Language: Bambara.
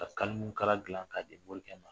Ka kalimu kala dilan k'a di mori kɛ ma.